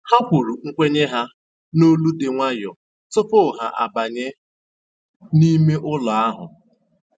Ha kwuru nkwenye ha n'olu dị nwayọọ tupu ha abanye n'ime ụlọ ahụ